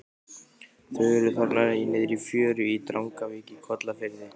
Þau eru þarna niðri í fjöru í Drangavík í Kollafirði.